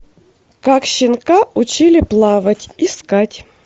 как щенка учили плавать искать